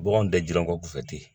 Baganw tɛ jilangɔku fɛ ten